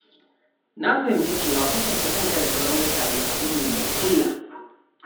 Na fahimci cewa kwatanta kanka da sauran mutane abu ne mai illa.